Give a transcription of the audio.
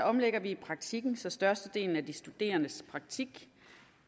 omlægger vi praktikken så størstedelen af de studerendes praktik